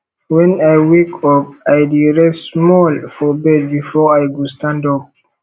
wen i wake up i dey rest small for bed before i go stand up